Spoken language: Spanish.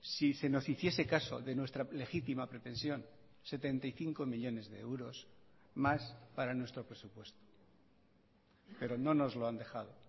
si se nos hiciese caso de nuestra legítima pretensión setenta y cinco millónes de euros más para nuestro presupuesto pero no nos lo han dejado